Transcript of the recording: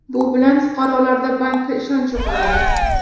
Bu bilan fuqarolarda bankka ishonch yo‘qoladi.